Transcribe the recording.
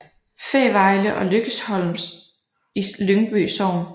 Fævejle og Lykkesholm i Lyngby Sogn